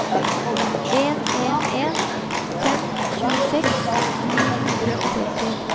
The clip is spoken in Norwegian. en en en fem tjueseks ni hundre og tretti